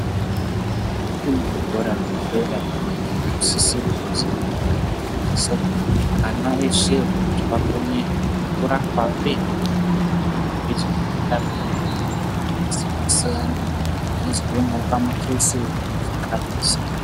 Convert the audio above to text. Zvimweni zvikora zvedera zvinosisa kuti ana ese akone kuramba eyienda kuchikora kuti akone kuzova nereramangwana rakanaka.